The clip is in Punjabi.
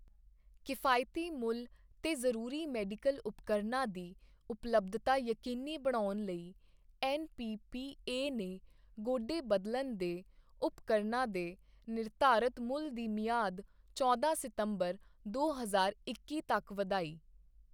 ਕਿਫ਼ਾਇਤੀ ਮੁੱਲ ਤੇ ਜਰੂਰੀ ਮੈਡੀਕਲ ਉਪਕਰਨਾਂ ਦੀ ਉਪਲੱਭਧਤਾ ਯਕੀਨੀ ਬਣਾਉਣ ਲਈ ਐਨਪੀਪੀਏ ਨੇ ਗੋਡੇ ਬਦਲਣ ਦੇ ਉਪਕਰਨਾਂ ਦੇ ਨਿਰਧਾਰਤ ਮੁੱਲ ਦੀ ਮਿਆਦ ਚੌਦਾਂ ਸਤੰਬਰ ਦੋ ਹਜ਼ਾਰ ਇੱਕੀ ਤੱਕ ਵਧਾਈ